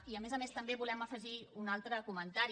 i a més a més també volem afegir un altre comentari